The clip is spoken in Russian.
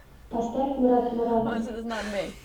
поставь мурат муратов